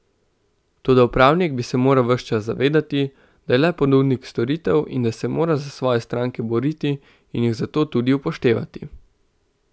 Toda upravnik bi se moral ves čas zavedati, da je le ponudnik storitev in da se mora za svoje stranke boriti in jih zato tudi upoštevati.